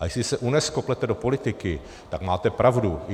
A jestli se UNESCO plete do politiky, tak máte pravdu.